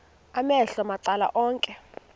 amehlo macala onke